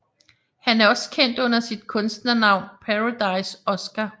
Han er også kendt under sit kunstnernavn Paradise Oskar